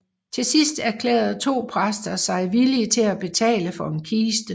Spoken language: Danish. Til sidst erklærede to præster sig villige til at betale for en kiste